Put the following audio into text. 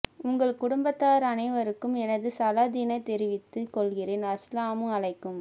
உங்கள் குடும்பத்தார் அனைவருக்கும் எனது சாலதினை தெரிவித்து கொள்கிறேன் அஸ்ஸலாமு அலைக்கும்